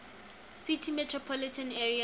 city metropolitan area